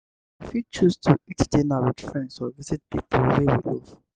we fit choose to eat dinner with friends or visit pipo wey we love